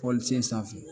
Pɔlisen sanfɛ